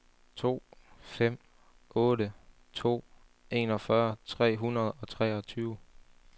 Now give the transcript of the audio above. to fem otte to enogfyrre tre hundrede og treogtyve